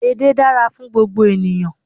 Edé dára fún gbogbo ènìyàn